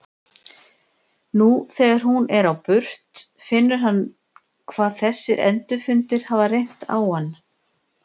Nú þegar hún er á burt finnur hann hvað þessir endurfundir hafa reynt á hann.